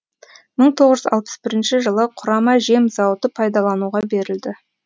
мың тоғыз жүз алпыс бірінші жылы құрама жем зауыты пайдалануға берілді